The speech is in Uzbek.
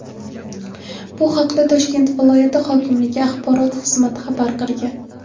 Bu haqda Toshkent viloyati hokimligi axborot xizmati xabar qilgan .